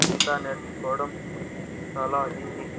ఈత నేర్చుకోవడం చాలా ఈజీ .